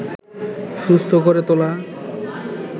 সুস্থ করে তোলা